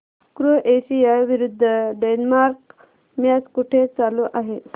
Croatia विरुद्ध Denmark match कुठे चालू आहे